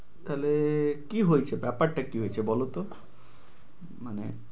তাহলে কি হয়ছে ব্যাপারটা কি হয়ছে বলতো? মানে